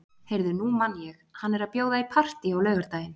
Heyrðu, nú man ég. hann er að bjóða í partí á laugardaginn.